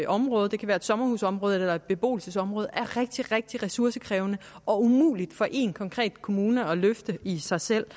område det kan være et sommerhusområde eller et beboelsesområde er rigtig rigtig ressourcekrævende og umuligt for én konkret kommune at løfte i sig selv